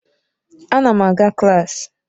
Ana m aga klaasị.